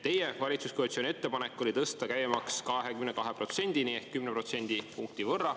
Teie valitsuskoalitsiooni ettepanek oli tõsta käibemaks 22%‑ni ehk 10%.